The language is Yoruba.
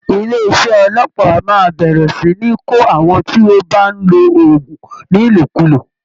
Ilé iṣẹ́ ọlọ́pàá máa bẹ̀rẹ̀ sì ní kó àwọn tí ó bá ń lo oògùn ní Ìlòkulò